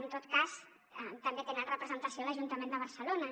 en tot cas també tenen representació a l’ajuntament de barcelona